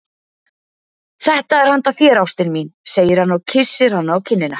Þetta er handa þér, ástin mín, segir hann og kyssir hana á kinnina.